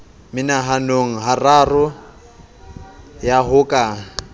mehananeng hararo ya ho ka